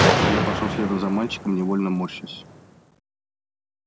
я пошёл следом за мальчиком невольно морщась